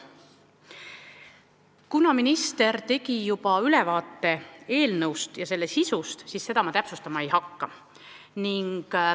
Kuna minister tegi juba ülevaate eelnõu sisust, siis seda ma täpsustama ei hakka.